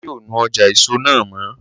Ọlá yóò nu ọjà èso náà mọ́